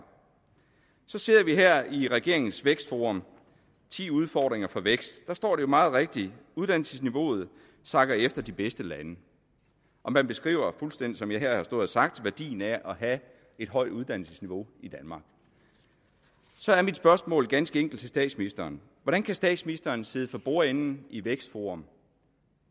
så ser vi her i regeringens vækstforum ti udfordringer for vækst jo står meget rigtigt at uddannelsesniveauet sakker efter de bedste lande og man beskriver fuldstændig som jeg her har stået og sagt værdien af at have et højt uddannelsesniveau i danmark så er mit spørgsmål ganske enkelt til statsministeren hvordan kan statsministeren sidde for bordenden i vækstforum